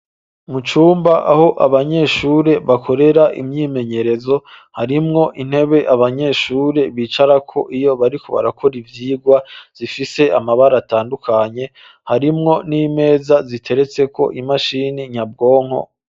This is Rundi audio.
Mu cumba aho abanyeshuri bakorera imyimenyerezo harimwo intebe abanyeshuri bicara ko iyo bari ku barakora ivyirwa zifise amabara atandukanye harimwo n'imeza ziteretse ko imashini nyabwonko.